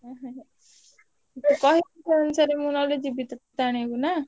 ଉଁହୁଁ ମତେ କହିବୁ ସେଇ ହିସାବ ରେ ମୁଁ ଯିବି ନହେଲେ ତତେ ଆଣିବାକୁ ନାଁ।